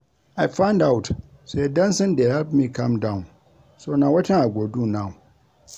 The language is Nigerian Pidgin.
I find out say dancing dey help me calm down so na wetin I go do now